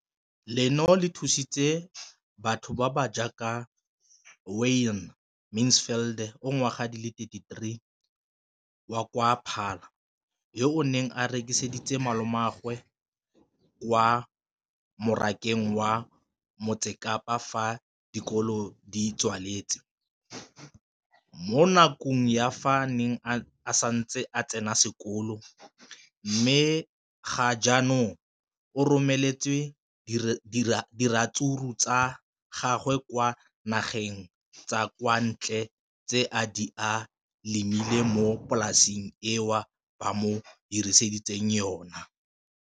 leno le thusitse batho ba ba jaaka Wayne Mansfield, 33, wa kwa Paarl, yo a neng a rekisetsa malomagwe kwa Marakeng wa Motsekapa fa dikolo di tswaletse, mo nakong ya fa a ne a santse a tsena sekolo, mme ga jaanong o romela diratsuru tsa gagwe kwa dinageng tsa kwa ntle tseo a di lemileng mo polaseng eo ba mo hiriseditseng yona.